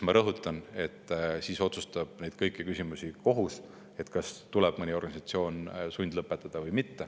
Ma rõhutan, et siis otsustab kohus kõiki küsimusi, ka seda, kas tuleb mõni organisatsioon sundlõpetada või mitte.